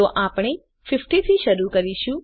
તો આપણે 50 થી શરૂ કરીશું